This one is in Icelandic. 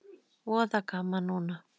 Voða gaman núna.